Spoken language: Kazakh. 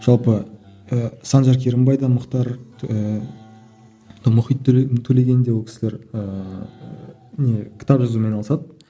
жалпы і санжар керімбай да мұхтар ііі мұхит төлеген де ол кісілер ііі не кітап жазумен айналысады